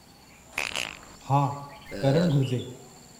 हा, करणु घुरिजे।